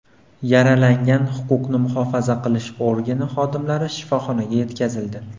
Yaralangan huquqni muhofaza qilish organi xodimlari shifoxonaga yetkazildi.